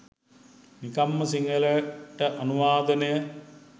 නිකං ම සිංහලට අනුවාදනය